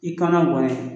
I kan ka mɔni